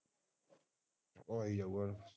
ਐਵੇ ਹੋਣਏ